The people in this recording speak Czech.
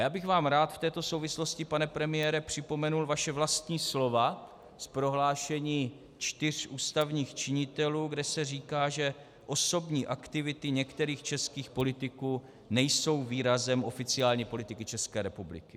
Já bych vám rád v této souvislosti, pane premiére, připomenul vaše vlastní slova z prohlášení čtyř ústavních činitelů, kde se říká, že osobní aktivity některých českých politiků nejsou výrazem oficiální politiky České republiky.